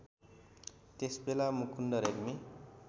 त्यसबेला मुकुन्द रेग्मी